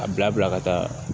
A bila ka taa